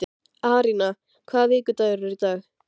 Arína, hvaða vikudagur er í dag?